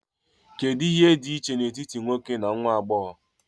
Kedu ihe dị iche n'etiti nwoke na nwa agbọghọ?